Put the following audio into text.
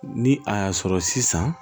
Ni a y'a sɔrɔ sisan